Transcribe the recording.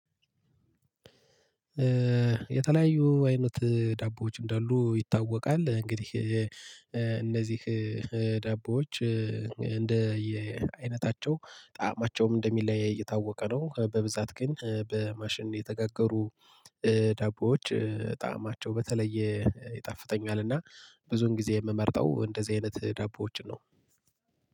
የተለያዩ አይነት ዳቦዎች እንዳሉ ይታወቃል እንግዲህ እነዚህ ዳቦዎች እንደ አይነታቸው ጣዕማቸውም እንደሚለያይ የታወቀ ነው በብዛት ግን በማሽን የተጋገሩ ዳቦዎች ጣዕማቸው በተለየ ይጣፍጠኛል እና ብዙን ጊዜ የምመርጠው እንደዚህ አይነት ዳቦዎችን ነው።